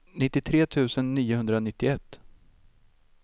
nittiotre tusen niohundranittioett